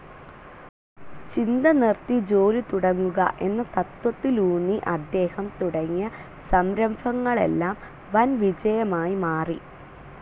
ചിന്ത നിർത്തി ജോലി തുടങ്ങുക എന്ന തത്ത്വത്തിലുന്നി അദ്ദേഹം തുടങ്ങിയ സംരഭങ്ങളെല്ലാം വൻ വിജയമായി മാറി.